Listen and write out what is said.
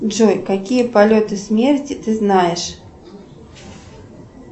джой какие полеты смерти ты знаешь